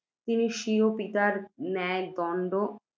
তিনি, স্বীয় পিতার ন্যায়,